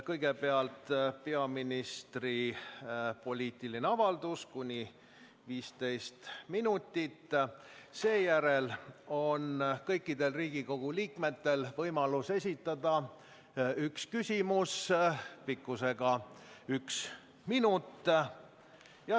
Kõigepealt on peaministri poliitiline avaldus kuni 15 minutit ja seejärel on kõikidel Riigikogu liikmetel võimalus esitada üks küsimus pikkusega üks minut.